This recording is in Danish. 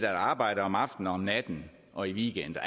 arbejde om aftenen og natten og i weekender